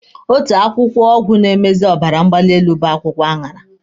Otu akwụkwọ ọgwụ na-emezi ọbara mgbali elu bụ akwụkwọ aṅara.